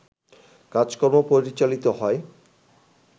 কাজকর্ম পরিচালিত হয়